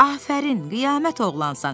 Afərin, qiyamət oğlansan.